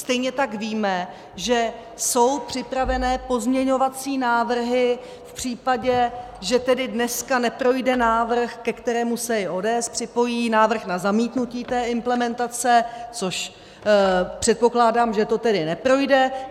Stejně tak víme, že jsou připravené pozměňovací návrhy v případě, že tedy dneska neprojde návrh, ke kterému se i ODS připojí, návrh na zamítnutí té implementace, což předpokládám, že to tedy neprojde.